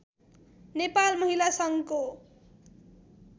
नेपाल महिला सङ्घको